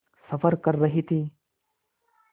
सफ़र कर रहे थे